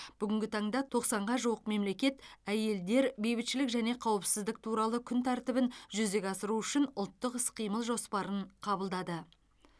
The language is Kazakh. бүгінгі таңда тоқсанға жуық мемлекет әйелдер бейбітшілік және қауіпсіздік туралы күн тәртібін жүзеге асыру үшін ұлттық іс қимыл жоспарын қабылдады